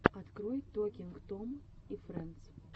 открой токинг том и фрэндс